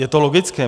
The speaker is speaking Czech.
Je to logické.